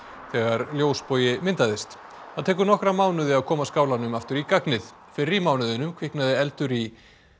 þegar myndaðist það tekur nokkra mánuði að koma skálanum aftur í gagnið fyrr í mánuðinum kviknaði eldur í